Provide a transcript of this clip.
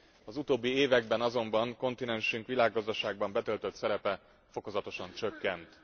Az utóbbi években azonban kontinensünk világgazdaságban betöltött szerepe fokozatosan csökkent.